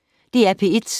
DR P1